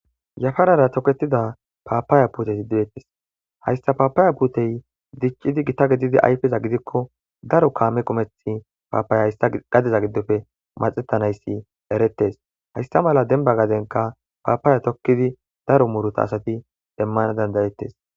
yafarara toketida paapaaya puteti dettis hayssa paapaaya puutey diccidi gita gedidi aypeza gidikko daro kaame qumeth paapaaya hayissa gadeza giddofe maxettanayssi erettes haysta mala denba gadenka paapaya tokkidi daro muruta asati demmana dandayettes